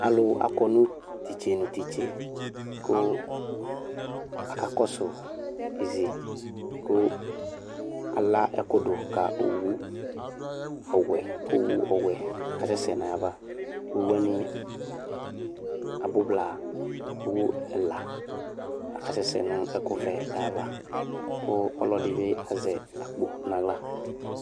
Alʋ akɔ nʋ tise nʋ titse kʋ akakɔsʋ izi kʋ ala ɛkʋdʋ ka owʋ ɔwɛ kʋ owʋ ɔwɛ asɛsɛ nʋ ayava owʋ wani abʋ blaa kʋ owʋ ɛla asɛsɛ nʋ ɛkʋvɛ yɛ ava kʋ ɔlɔdibi azɛ akpo nʋ aɣla